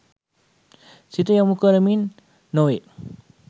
සිත යොමු කරමින් නො වේ.